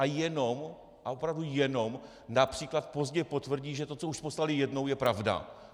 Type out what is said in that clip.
A jenom, a opravdu jenom například pozdě potvrdí, že to, co už poslali jednou, je pravda?